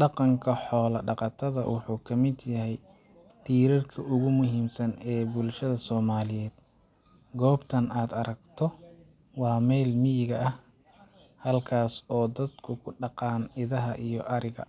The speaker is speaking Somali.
Dhaqanka xoolo dhaqatada wuxuu ka mid yahay tiirarka ugu muhiimsan ee nolosha bulshada Soomaaliyeed. Goobtan aad aragto waa meel miyiga ah, halkaas oo dadku ku dhaqdaan idaha iyo ariga.